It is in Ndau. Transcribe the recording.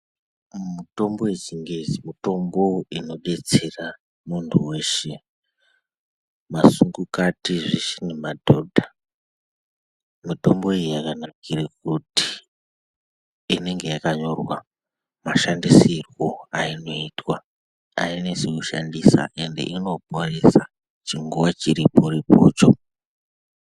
Mitombo yechingezi mitombo inodetsera muntu weshe masungukati nemadhodha mitombo iyi yakanaka kuitira kuti inenge yakanyorwa mashandisiro ainetsi kushandisa ends inoporesa chiriporipocho.